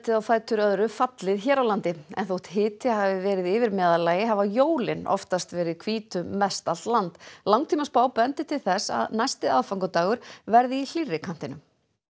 á fætur öðru fallið hér á landi en þótt hiti hafi verið yfir meðallagi hafa jólin oftast verið hvít um mestallt land langtímaspá bendir til þess að næsti aðfangadagur verði í hlýrri kantinum